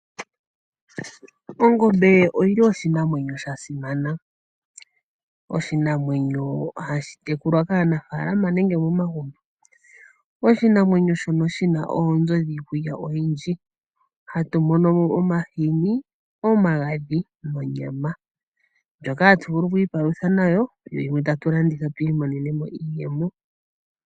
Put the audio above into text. Ongombe oyili oshinamwenyo sha simana, oshinamwenyo ohashi tekulwa kaanafalama nenge momamgumbo. Oshinamwenyo shono shina oonzo niikulya oyindji. Hatu mono mo omahini, omagadhi nonyama ndjoka hatu vulu oku ipalutha nayo, yimwe tatu yi landitha tu imonene mo iiyemo.